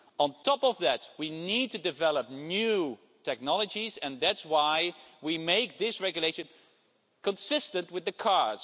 On top of that, we need to develop new technologies and that's why we are making this Regulation consistent with the cars.